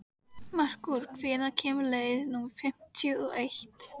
Merkúr, hvenær kemur leið númer fimmtíu og eitt?